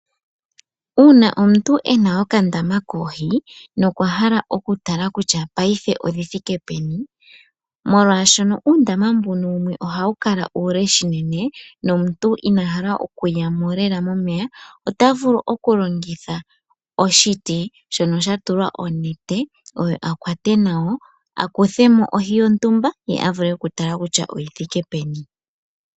Uuna omuntu ena okandama koohi nokwa hala okutala kutya paife odhithike peni, molwaashono uundama mbuno wumwe ohawu kala uule shinene nomuntu inahala okuya mo lela momeya otavulu okulongitha oshiti shono shatulwa onete oyo akwate nayo akuthemo ohi yotumba ye avule okutala kutya oyithike peni.